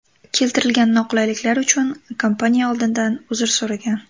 Keltirilgan noqulayliklar uchun kompaniya oldindan uzr so‘ragan.